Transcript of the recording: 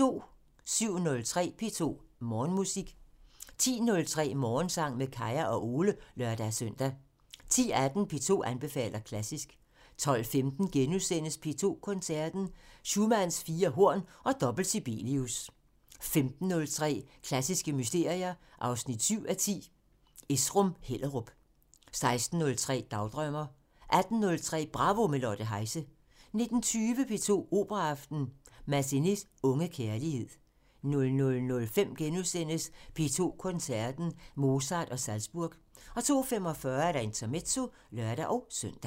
07:03: P2 Morgenmusik 10:03: Morgensang med Kaya og Ole (lør-søn) 10:18: P2 anbefaler klassisk 12:15: P2 Koncerten – Schumanns fire horn og dobbelt Sibelius * 15:03: Klassiske mysterier 7:10 – Esrum-Hellerup 16:03: Dagdrømmer 18:03: Bravo – med Lotte Heise 19:20: P2 Operaaften – Massenets unge kærlighed 00:05: P2 Koncerten – Mozart & Salzburg * 02:45: Intermezzo (lør-søn)